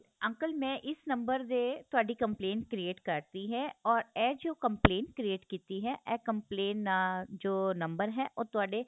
uncle ਮੈ ਇਸ ਨੰਬਰ ਦੇ ਤੁਹਾਡੀ complaint create ਕਰ ਦੀ ਏ ਔਰ ਏਹ ਜੋ complaint create ਕੀਤੀ ਏ ਏਹ complaint ਨਾ ਜੋ ਨੰਬਰ ਉਹ ਤੁਹਾਡੇ